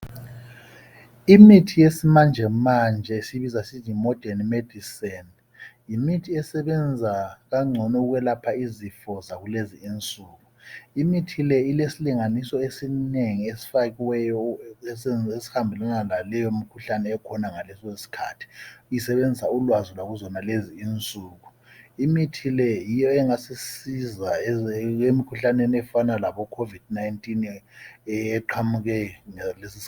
imithi yesimanjemanje esiyibiza sisisthi yi modern medicine yimithi esebenza kangcono ukwelapha izifo zakulezi insuku imithi le ilesilinganiso esinengi esifakiweyo esihambelana la leyo mikhuhlane ekhona ngaleso sikhathi isebenzisa ulwazi lwakuzonalezi insuku imithi le yiyo engasisiza emikhuhlaneni efana labo covid 19 eqhamuke ngalesi